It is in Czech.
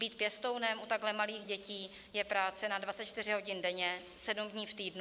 Být pěstounem u takhle malých dětí je práce na 24 hodin denně sedm dní v týdnu.